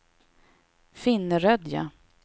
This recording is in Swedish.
Finnerödja